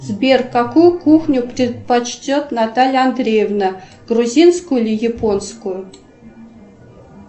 сбер какую кухню предпочтет наталья андреевна грузинскую или японскую